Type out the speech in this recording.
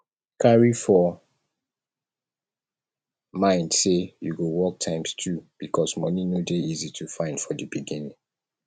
carry for mind say you go work times two because money no de easy to find for di beginning